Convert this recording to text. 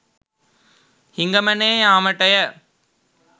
හිඟමනේ යාමටය